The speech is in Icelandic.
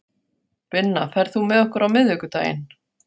Binna, ferð þú með okkur á miðvikudaginn?